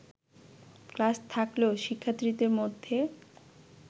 class থাকলেও শিক্ষার্থীদের মধ্যে